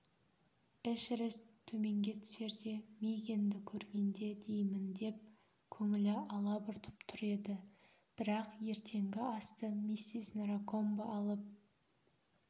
эшерест төменге түсерде мигэнді көргенде деймін деп көңілі алабұртып тұр еді бірақ ертеңгі асты миссис наракомбо алып